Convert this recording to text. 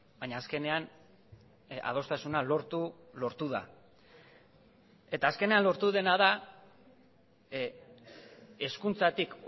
baina azkenean adostasuna lortu lortu da eta azkenean lortu dena da hezkuntzatik